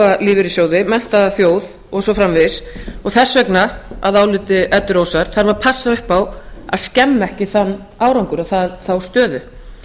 öfluga lífeyrissjóði menntaða þjóð og svo framvegis og þess vegna að áliti eddu rósar þarf að passa upp á að skemma ekki þann árangur og þá stöðu